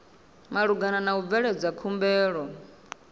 malugana na u bveledza khumbelo